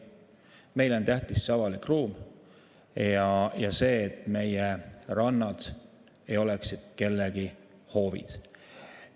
Meile on tähtis avalik ruum ja see, et meie rannad ei oleks kellegi hoovid.